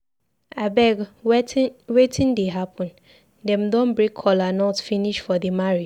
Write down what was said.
Abeg wetin dey happen? Dem don break kola nut finish for the marriage?